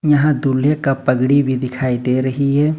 यहां दूल्हे का पगड़ी भी दिखाई दे रही है।